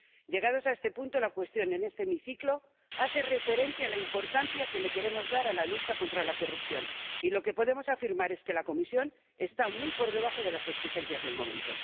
Llegados a este punto, la cuestión en este hemiciclo hace referencia a la importancia que le queremos dar a la lucha contra la corrupción y lo que podemos afirmar es que la Comisión está muy por debajo de las exigencias del momento.